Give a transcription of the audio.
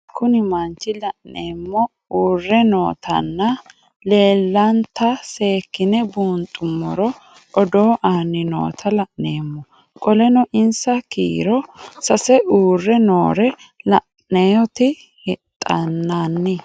Kuni mannich la'nemo uure nootana leelanta seekine bunxumoro odoo anni noota la'nemo qoleno insa kiiro sase u're noore lan'enoti hexenani